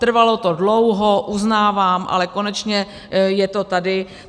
Trvalo to dlouho, uznávám, ale konečně je to tady.